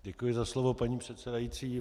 Děkuji za slovo paní předsedající.